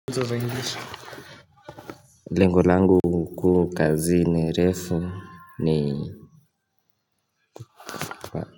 Hizo za English. Lengo langu kuu kazini refu ni.